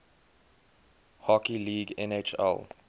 hockey league nhl